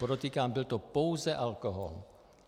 Podotýkám, byl to pouze alkohol.